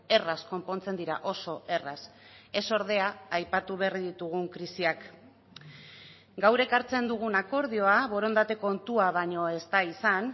erraz konpontzen dira oso erraz ez ordea aipatu berri ditugun krisiak gaur ekartzen dugun akordioa borondate kontua baino ez da izan